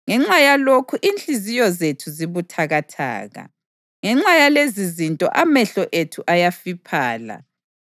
Ngenxa yalokhu inhliziyo zethu zibuthakathaka; ngenxa yalezizinto amehlo ethu ayafiphala,